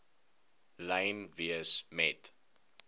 lyn wees met